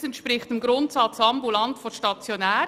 Das entspricht dem Grundsatz «ambulant vor stationär».